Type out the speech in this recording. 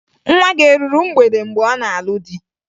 Nwa gị eruru mgbede mgbe ọ na-alụ di?